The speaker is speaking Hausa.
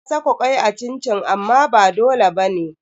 Ana saka kwai a cin-cin amma ba dole bane.